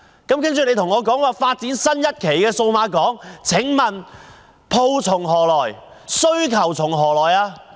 可是，司長卻說要發展新一期數碼港，請問鋪從何來，需求從何來？